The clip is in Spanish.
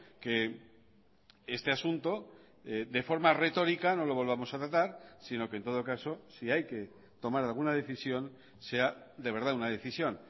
que este asunto de forma retórica no lo volvamos a tratar sino que en todo caso si hay que tomar alguna decisión sea de verdad una decisión